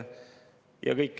Ja kõik.